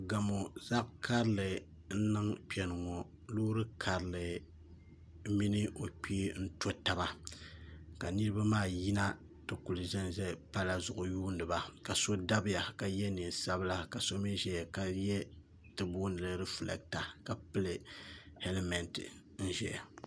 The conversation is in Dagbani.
Gamo zaɣ karili n niŋ kpɛŋŋɔ loori karili mini o kpee n to taba ka niraba maa yina ti ku ʒɛnʒɛ pala zuɣu yuundiba ka so dabiya ka yɛ neen sabila ka so mii ʒɛya ka yɛ ti boondili rifilɛkta ka pili hɛlmɛnt n ʒɛya